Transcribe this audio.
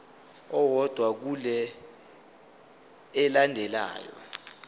owodwa kule elandelayo